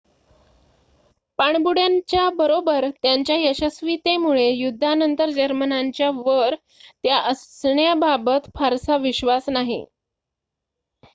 पाणबुड्यांच्या बरोबर त्यांच्या यशस्वीतेमुळे युद्धानंतर जर्मनांच्या वर त्या असण्या बाबत फारसा विश्वास नाही